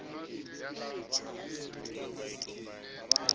e metjha ya sekimi ke